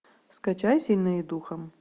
скачай сильные духом